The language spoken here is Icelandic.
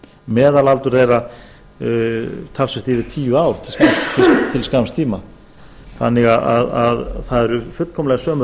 meðalaldur þeirra talsvert yfir tíu ár til skamms tíma það eru því fullkomlega sömu